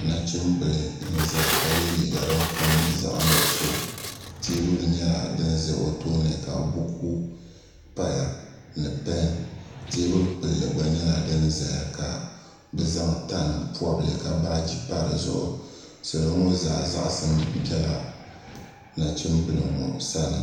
Nachimbila n zaya ka ye liiga din kom nyɛ zaɣa nuɣuso teebulu nyɛla din za o tooni ka buku paya ni peni teebuli gbilli gba nyɛla din zaya ka bɛ zaŋ tani pɔbli ka zaŋ baaji pa dizuɣu salo ŋɔ zaa zaɣasim bela nachimbila ŋɔ sani.